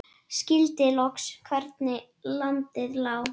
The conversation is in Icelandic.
Skildi loks hvernig landið lá.